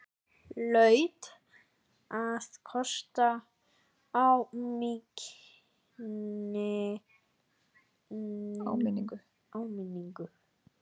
Hlaut að kosta áminningu!